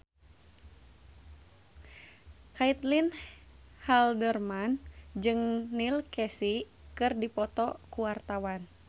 Caitlin Halderman jeung Neil Casey keur dipoto ku wartawan